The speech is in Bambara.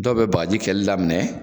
Dɔw be bagaji kɛli daminɛ